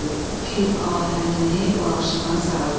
pir ahənini başına sardı.